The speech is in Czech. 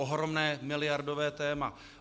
Ohromné miliardové téma.